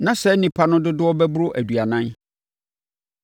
Na saa nnipa no dodoɔ bɛboro aduanan.